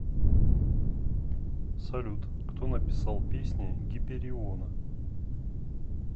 салют кто написал песни гипериона